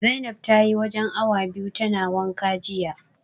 Zainab tayi wajen awa biyu tana wanka jiya.